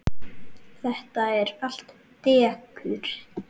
Þetta er allt dekur.